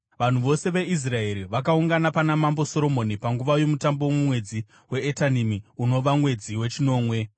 Vanhu vose veIsraeri vakaungana pana Mambo Soromoni panguva yomutambo mumwedzi waEtanimi, unova mwedzi wechinomwe.